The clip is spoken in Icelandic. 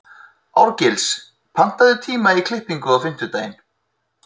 Árgils, pantaðu tíma í klippingu á fimmtudaginn.